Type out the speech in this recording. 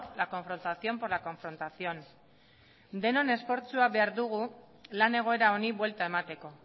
la confrontación por la confrontación denon esfortzua behar dugu lan egoera honi buelta emateko